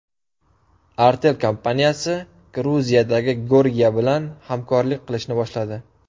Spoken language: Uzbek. Artel kompaniyasi Gruziyadagi Gorgia bilan hamkorlik qilishni boshladi.